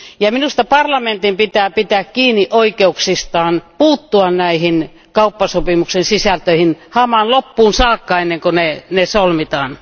Minusta parlamentin pitää pitää kiinni oikeuksistaan puuttua näiden kauppasopimusten sisältöihin hamaan loppuun saakka ennen kuin ne solmitaan.